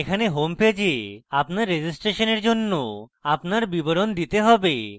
এখানে হোমপেজে আপনার registration জন্য আপনার বিবরণ দিতে have